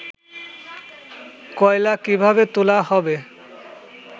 কয়লা কিভাবে তোলা হবে